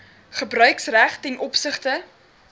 gebruiksreg ten opsigte